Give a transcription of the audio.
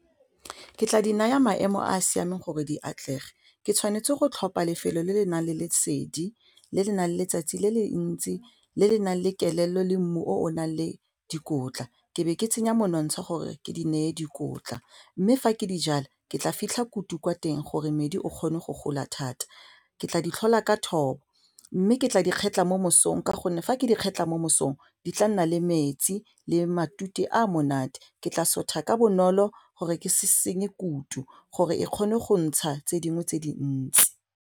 Ke tla di naya maemo a a siameng gore di atlege ke tshwanetse go tlhopha lefelo le le nang le lesedi le le nang le letsatsi le le ntsi le le nang le kelello le mmu o o nang le dikotla ke be ke tsenya monontsha gore ke di neye dikotla mme fa ke di jala ke tla fitlha kutu kwa teng gore medi o kgone go gola thata, ke tla di tlhola ka thobo mme ke tla di kgetlha mo mosong ka gonne fa ke di kgetlha mo mosong di tla nna le metsi le matute a monate ke tla sotha ka bonolo gore ke se senye kutu gore e kgone go ntsha tse dingwe tse dintsi.